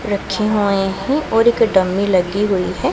रखी हुई हैं और एक डमी लगी हुई है।